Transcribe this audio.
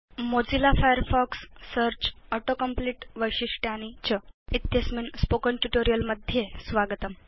Mozilla Firefox Search auto complete वैशिष्ट्यानि च इत्यस्मिन् स्पोकेन ट्यूटोरियल् मध्ये स्वागतम्